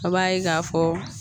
A b'a ye k'a fɔ